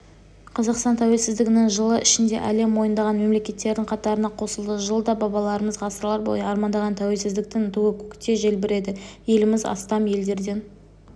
қазақстан тәуелсіздігінің жылы ішінде әлем мойындаған мемлекеттердің қатарына қосылды жылда бабаларымыз ғасырлар бойы армандаған тәуелсіздіктің туы көкте желбіреді еліміз астам елдермен